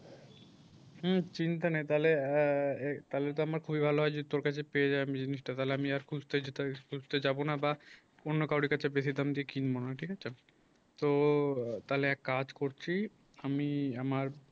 হুম চিন্তা নাই তাহলে আ তাহলে তো আমার খুবই ভালো হয় যদি তোর কাছে পেয়ে যাই আমি জিনিসটা তাহলে আমি আর খুঁজতে যাব না বা অন্য কারো কাছে বেশি দাম দিয়ে কিনবো না ঠিক আছে তো তাহলে এক কাজ করছি আমি আমার